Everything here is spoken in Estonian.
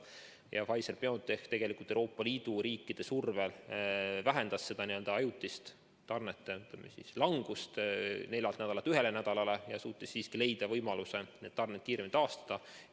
Ja tegelikult Pfizer-BioNTech Euroopa Liidu riikide survel vähendaski seda ajutist tootmise langust neljalt nädalalt ühele nädalale ja suutis siiski leida võimaluse tarned kiiremini taastada.